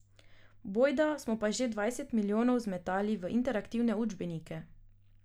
Bojda smo pa že dvajset milijonov zmetali v interaktivne učbenike.